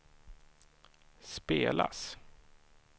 spelas